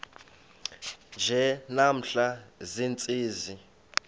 nje namhla ziintsizi